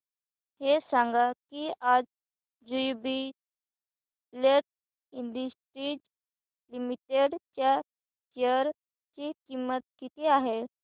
हे सांगा की आज ज्युबीलेंट इंडस्ट्रीज लिमिटेड च्या शेअर ची किंमत किती आहे